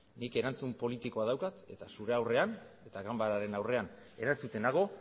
nik erantzun politikoa daukat eta zure aurrean eta ganbararen aurrean erantzuten nago